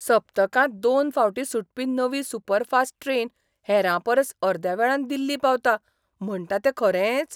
सप्तकांत दोन फावटीं सुटपी नवी सुपरफास्ट ट्रेन हेरांपरस अर्द्या वेळान दिल्ली पावता म्हणटा तें खरेंच?